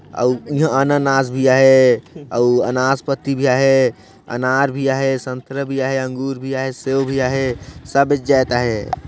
अऊ इहाँ अनानास भी आहे अऊ अनास पट्टी भी आहे अनार भी आहे संतरा भी आहे अंगूर भी आहे सेव भी आहे सब बेचा आए हे।